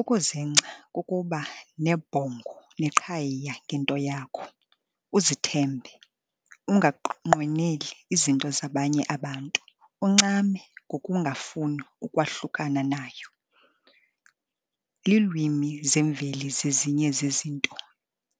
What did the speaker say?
Ukuzingca kukuba nebhongo neqhayiya ngento yakho, uzithembe, ungaqweneli izinto zabanye abantu, uncame ngokungafuni ukwahlukana nayo. Iilwimi zemveli zezinye zezinto